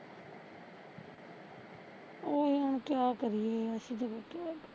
ਓਹੀ ਹੁਣ ਕਿਆ ਕਰੀਏ ਅਸੀਂ ਤਾਂ ਫੇਰ ਕਿਆ ਕਰੀਏ